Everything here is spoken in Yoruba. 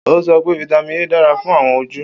O sọ pe Vitamin A dara fun awọn oju.